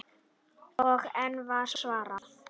Og enn var svarað